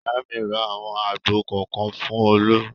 Ìyá mi ra àwọn àgbò kọ̀ọ̀kan fún Olú.